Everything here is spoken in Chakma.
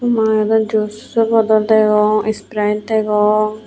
mui arow jucho bodol degong ispiraet degong.